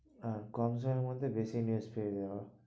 আর কম সময়ের মধ্যে বেশি news পেয়ে যাবো।